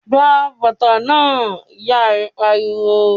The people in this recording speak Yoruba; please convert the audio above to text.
"Gba bàtà náà!", Ìyá rẹ̀ pariwo